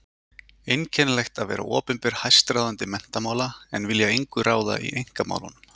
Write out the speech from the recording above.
Einkennilegt að vera opinber hæstráðandi menntamála en vilja engu ráða í einkamálunum.